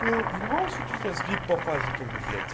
ну в любом случае у тебя сдвиг по фазе как бы блять